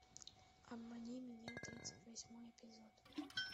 обмани меня тридцать восьмой эпизод